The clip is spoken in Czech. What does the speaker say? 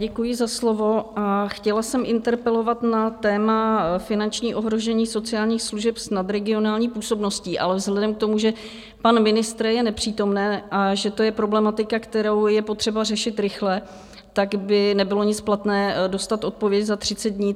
Děkuji za slovo a chtěla jsem interpelovat na téma finanční ohrožení sociálních služeb s nadregionální působností, ale vzhledem k tomu, že pan ministr je nepřítomen a že to je problematika, kterou je potřeba řešit rychle, tak by nebylo nic platné dostat odpověď za 30 dní.